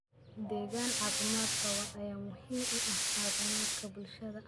Deegaan caafimaad qaba ayaa muhiim u ah caafimaadka bulshada.